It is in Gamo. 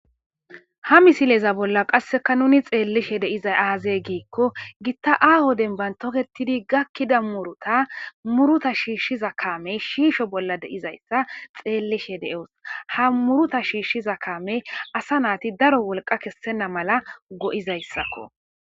ha misileza bolla qasseka nuni xeellishe de'izay aazey giikko gitta aaho denban toketidi gakkida muruta muruta shiishshiza kaamey shiisho bolla deizayssa xeellishe de7os ha muruta shiishshiza kaamey asa naati daro wolqa kessenna mala go7izayssakko